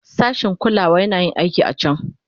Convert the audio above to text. Sashin kulawa yana yin aikin a can.